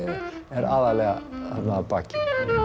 er aðallega þarna að baki